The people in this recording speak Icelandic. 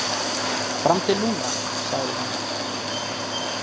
Fram til núna, sagði hún.